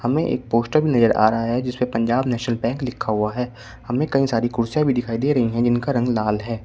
हमें एक पोस्टर नजर आ रहा है जिसपे पंजाब नेशनल बैंक लिखा हुआ है हमें कई सारी कुर्सियां भी दिखाई दे रही हैं जिनका रंग लाल है।